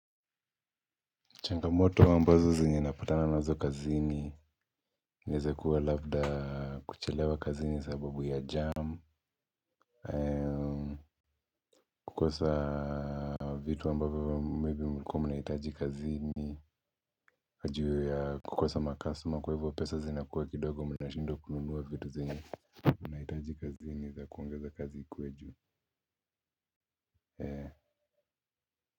Changamoto ambazo zenye napatana nazo kazini inaweza kuwa labda kuchelewa kazini sababu ya jam kukosa vitu ambavyo maybe mlikuwau mnahitaji kazini na juu ya kukosa macustomer kwa hivyo pesa zinakuwa kidogo mnashindwa kununuwa vitu zenye nahitaji kazini za kuongeza kazi ikuwe juu.